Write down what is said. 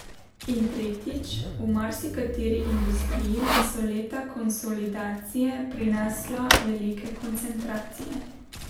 In tretjič, v marsikateri industriji so leta konsolidacije prinesla velike koncentracije.